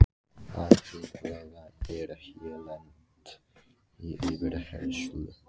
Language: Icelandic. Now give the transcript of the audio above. Auðheyrilega er ég lent í yfirheyrslu.